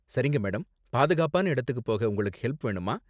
சரிங்க மேடம், பாதுகாப்பான இடத்துக்கு போக உங்களுக்கு ஹெல்ப் வேணுமா?